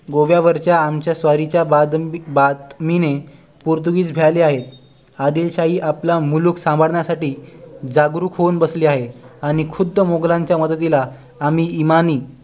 गोव्यावरच्या आमच्या स्वारीच्या बातमीने पोर्तुगीज भ्याले आहेत अदिलशाही आपला मुलुख सावरण्या साठी जागृत होऊन बसली आहे आणि खुद्द मोगलांच्या मदतीला आम्ही ईमानी